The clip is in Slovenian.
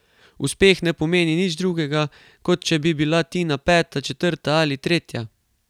Uspeh ne pomeni nič drugega, kot če bi bila Tina peta, četrta ali tretja.